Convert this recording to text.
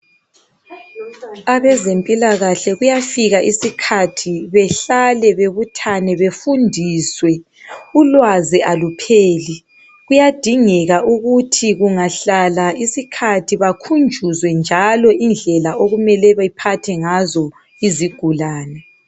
Abezempilakahle kuyafika isikhathi behlale, bebuthane, befundiswe .Ulwazi alupheli, kuyadingeka ukuthi kungahlala isikhathi bakhunjuzwe njalo indlela okumele bephathe ngazo izigulane.